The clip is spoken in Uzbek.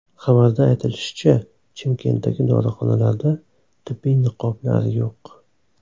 Xabarda aytilishicha, Chimkentdagi dorixonalarda tibbiy niqoblar yo‘q.